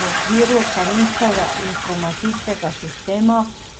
V okviru carinskega informacijskega sistema